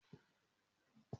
Ọ̀la ni máa lọ.